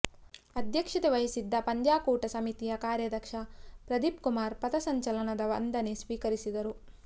ಅಧ್ಯಕ್ಷತೆ ವಹಿಸಿದ್ದ ಪಂದ್ಯಾಕೂಟ ಸಮಿತಿಯ ಕಾರ್ಯಾಧ್ಯಕ್ಷ ಪ್ರದೀಪ್ ಕುಮಾರ್ ಪಥಸಂಚಲನದ ವಂದನೆ ಸ್ವೀಕರಿಸಿದರು